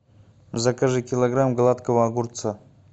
закажи килограмм гладкого огурца